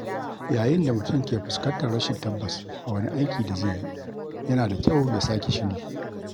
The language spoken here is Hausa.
Yayin da mutum ke fuskantar rashin tabbas a wani aiki da zai yi, yana da kyau ya sake shiri